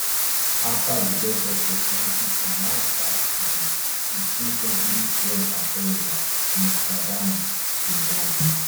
after di death of pope francis online search for di sixteenth century french astrologer nostradamus bin rise